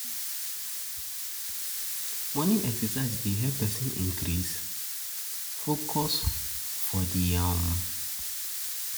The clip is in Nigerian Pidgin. Morning exercise dey help increase person focus for di day